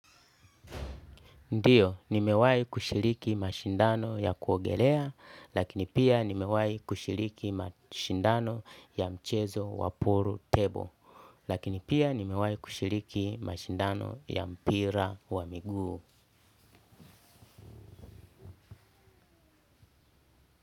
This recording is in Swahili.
Ndiyo, nimewayi kushiriki mashindano ya kuogelea, lakini pia nimewahi kushiriki mashindano ya mchezo wa pool table, lakini pia nimewahi kushiriki mashindano ya mpira wa miguu.